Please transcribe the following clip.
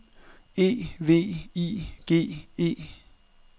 E V I G E